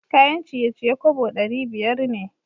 Kayan ciye-ciye kobo dari biyar ne.